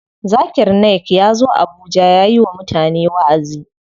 Zakir Naik yazo abuja yayi wa mutane waʼazi.